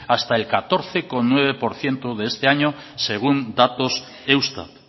hasta el catorce coma nueve por ciento de este año según datos eustat